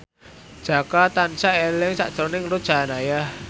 Jaka tansah eling sakjroning Ruth Sahanaya